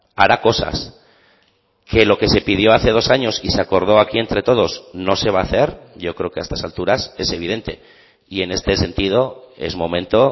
hará cosas que lo que se pidió hace dos años y se acordó aquí entre todos no se va a hacer yo creo que a estas alturas es evidente y en este sentido es momento